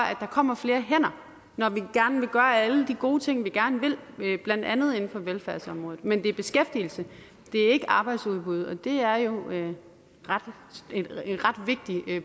at der kommer flere hænder når vi gerne vil gøre alle de gode ting vi gerne vil blandt andet inden for velfærdsområdet men det er beskæftigelse det er ikke arbejdsudbud og det er jo en ret vigtig